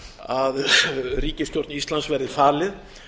að ríkisstjórn íslands verði falið